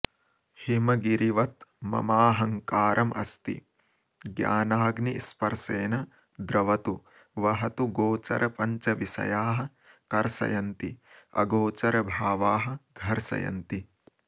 हिमगिरिवत् ममाहङ्कारमस्ति ज्ञानाग्नि स्पर्शेन द्रवतु वहतु गोचर पञ्चविषयाः कर्षयन्ति अगोचर भावाः घर्षयन्ति